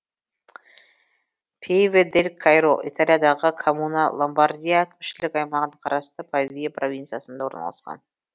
пьеве дель каиро италиядағы коммуна ломбардия әкімшілік аймағына қарасты павия провинциясында орналасқан